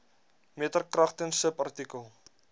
meter kragtens subartikel